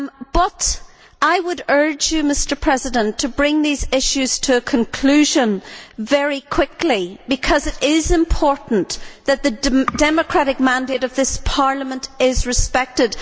But I would urge you, Mr President, to bring these issues to a conclusion very quickly, because it is important that the democratic mandate of this Parliament is respected.